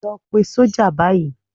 Lọ pe sọ́jà báyìí.